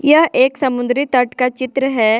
यह एक समुद्री तट का चित्र है।